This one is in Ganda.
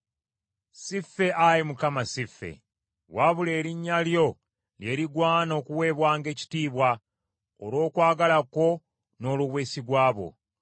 Si ffe, Ayi Mukama , si ffe. Wabula erinnya lyo lye ligwana okuweebwanga ekitiibwa, olw’okwagala kwo n’olw’obwesigwa bwo.